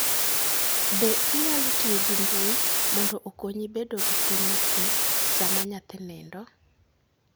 Be inyalo tiyo gi mbui mondo okonyi bedo gi chuny mokuwe sama nyathi nindo?